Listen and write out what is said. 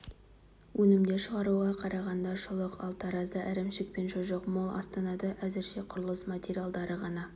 өнімдер шығаруда қарағанды шұлық ал таразда ірімшік пен шұжық мол астанада әзірше құрылыс материаладры ғана